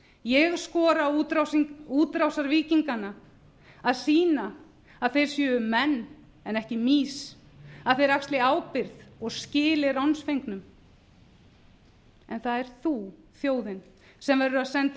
ég skora á útrásarvíkingana að sýna að þeir séu menn en ekki mýs að þeir axli ábyrgð og skili ránsfengnum en það ert þú þjóðin sem verður að senda